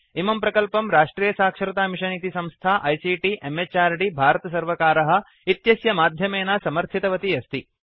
इमं प्रकल्पं राष्ट्रियसाक्षरतामिषन् इति संस्था आईसीटी म्हृद् भारतसर्वकार इत्यस्य माध्यमेन समर्थितवती अस्ति